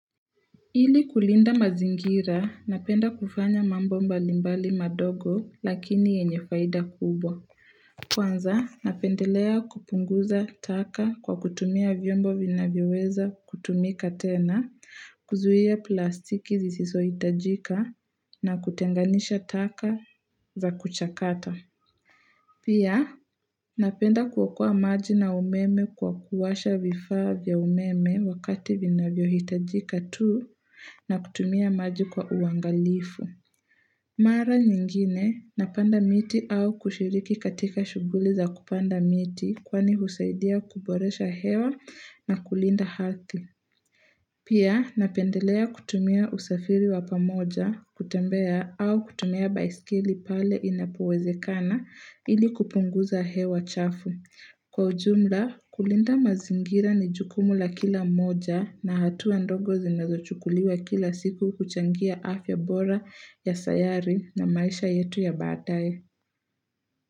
Ili kulinda mazingira, napenda kufanya mambo mbalimbali madogo lakini yenye faida kubwa. Kwanza, napendelea kupunguza taka kwa kutumia vyombo vina vyoweza kutumika tena, kuzuia plastiki zisiso hitajika na kutenganisha taka za kuchakata. Pia, napenda kuokoa maji na umeme kwa kuwasha vifaa vya umeme wakati vina vyo hitajika tuu na kutumia maji kwa uangalifu. Mara nyingine, napanda miti au kushiriki katika shughuli za kupanda miti kwani husaidia kuboresha hewa na kulinda ardhi. Pia napendelea kutumia usafiri wa pamoja kutembea au kutumia baiskeli pale inapowezekana ili kupunguza hewa chafu. Kwa ujumla kulinda mazingira ni jukumu la kila mmoja na hatua ndogo zinazo chukuliwa kila siku kuchangia afya bora ya sayari na maisha yetu ya baadaye.